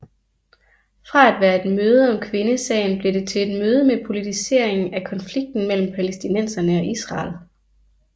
Fra at være et møde om kvindesagen blev det til et møde med politisering af konflikten mellem palæstinenserne og Israel